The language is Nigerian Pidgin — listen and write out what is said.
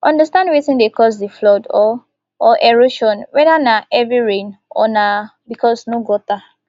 understand wetin dey cause di flood or or erosion weda na heavy rain or na because no gutter